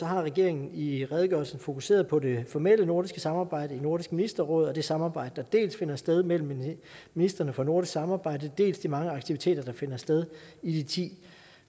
har regeringen i redegørelsen fokuseret på det formelle nordiske samarbejde i nordisk ministerråd og det samarbejde dels finder sted mellem ministrene for nordisk samarbejde dels de mange aktiviteter der finder sted i de ti